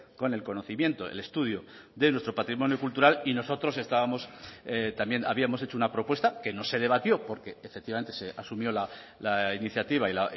con el conocimiento el estudio de nuestro patrimonio cultural y nosotros estábamos también habíamos hecho una propuesta que no se debatió porque efectivamente se asumió la iniciativa y